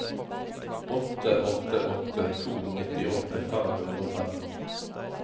åtte åtte åtte to nittiåtte fem hundre og tretten